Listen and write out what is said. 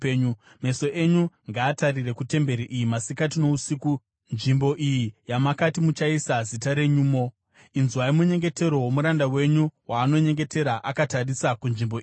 Meso enyu ngaatarire kutemberi iyi masikati nousiku, nzvimbo iyi yamakati muchaisa Zita renyumo. Inzwai munyengetero womuranda wenyu waanonyengetera akatarisa kunzvimbo ino.